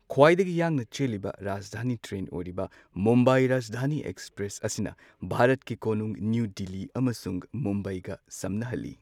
ꯈ꯭ꯋꯥꯏꯗꯒꯤ ꯌꯥꯡꯅ ꯆꯦꯜꯂꯤꯕ ꯔꯥꯖꯙꯥꯅꯤ ꯇ꯭ꯔꯦꯟ ꯑꯣꯏꯔꯤꯕ ꯃꯨꯝꯕꯥꯏ ꯔꯥꯖꯙꯥꯅꯤ ꯑꯦꯀ꯭ꯁꯄ꯭ꯔꯦꯁ ꯑꯁꯤꯅ ꯚꯥꯔꯠꯀꯤ ꯀꯣꯅꯨꯡ ꯅꯤꯎ ꯗꯤꯜꯂꯤ ꯑꯃꯁꯨꯡ ꯃꯨꯝꯕꯥꯏꯒ ꯁꯝꯅꯍꯜꯂꯤ꯫